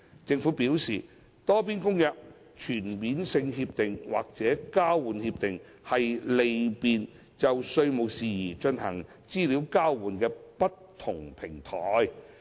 政府表示，《多邊公約》、全面性協定或交換協定是利便就稅務事宜進行資料交換的不同平台。